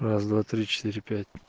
раз-два-три-четыре-пять